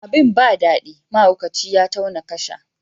Abin ba dadi, mahaukaci ya tauna kasha.